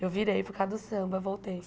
Eu virei por causa do samba, voltei.